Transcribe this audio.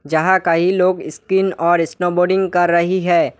जहां कई लोग स्किन और स्नोबोर्डिंग कर रही है।